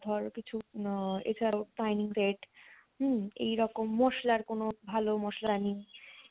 ধর কিছু মাহ এছাড়াও dining set হম এই রকম মশলার কোনো ভালো মশলা নি